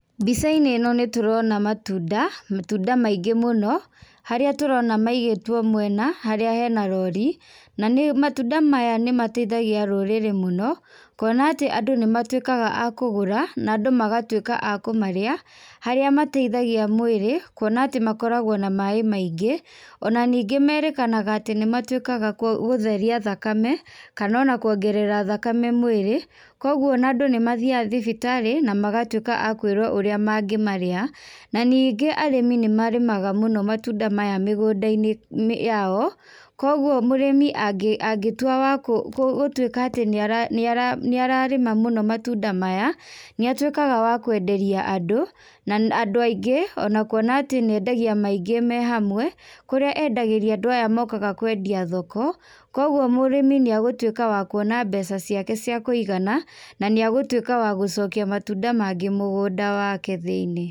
Mbica-inĩ ĩno, nĩtũrona matunda, matunda maingĩ mũno, harĩa tũrona maigĩtwo mwena, harĩa harĩ na rori, na nĩ, matunda maya nĩmateithagia rũrĩrĩ mũno, kuona atĩ andũ nĩmatwĩkaga a kũgũra, na andũ magatwĩka a kũmarĩa, harĩa mateithagia mwĩrĩ, kuona atĩ makoragwo na maĩ maingĩ, ona ningĩ nĩmerĩkanaga atĩ nĩ matuĩkaga gũtheria thakame, kanona kũongerera thakame mwĩrĩ, koguo ona andũ nĩmathiaga thibitarĩ, namagatwĩka akwĩrwo ũrĩa mangĩmarĩa, naningĩ arĩmi nĩmarĩmaga mũno matunda maya mĩgũnda-inĩ yao, kwoguo mũrĩmi angĩ angĩtua wakũ gũtwĩka atĩ nĩara nĩararĩma mũno matunda maya, nĩatwĩkaga wa kwenderia andũ, na andũ aingĩ, ona kuona atĩ nĩendagia maingĩ me hamwe, kũrĩa endagĩria andũ aya mokaga kwendia thoko, koguo mũrĩmi nĩagũtwĩka wa kuona mbeca ciake ciakũigana, na nĩagũtwĩka wa gũcokia matunda mangĩ mũgũnda wake thĩinĩ.